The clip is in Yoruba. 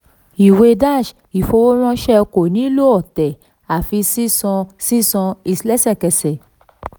ìwé dash ìfowóránṣẹ́ ko nílò ọ̀tẹ̀ àfi sísan sísan lẹ́sẹ̀kẹsẹ̀